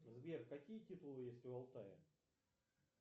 сбер какие титулы есть у алтая